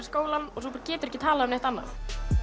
skólann og getur ekki talað um annað